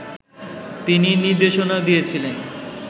তিনি নির্দেশনাও দিয়েছিলেন